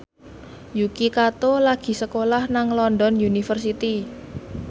Yuki Kato lagi sekolah nang London University